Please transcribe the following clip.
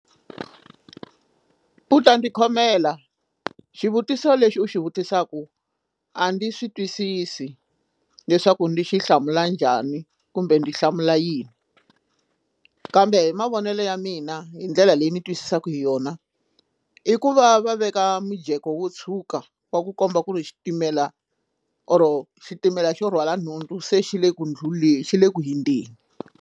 U ta ni khomela xivutiso lexi u xi vutisaka a ndi swi twisisi leswaku ndi xi hlamula njhani kumbe ndi hlamula yini kambe hi mavonelo ya mina hi ndlela leyi ni twisisaka hi yona i ku va va veka mujeko wo tshuka wa ku komba ku ri xitimela or xitimela xo rhwala nhundzu se xi le ku xi le ku hindeni.